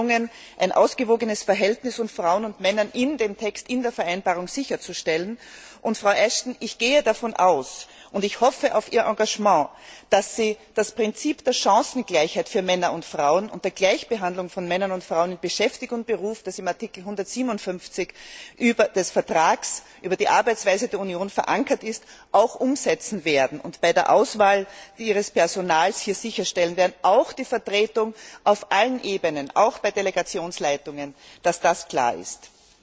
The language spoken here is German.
Es ist uns gelungen, ein ausgewogenes Verhältnis von Frauen und Männern in der Vereinbarung sicherzustellen, und, Frau Ashton, ich gehe davon aus und ich hoffe auf Ihr Engagement dass Sie das Prinzip der Chancengleichheit für Männer und Frauen und der Gleichbehandlung von Männern und Frauen in Beschäftigung und Beruf, das in Artikel 157 des Vertrags über die Arbeitsweise der Union verankert ist, auch umsetzen werden und bei der Auswahl Ihres Personals die Vertretung auf allen Ebenen, auch bei Delegationsleitungen, sicherstellen.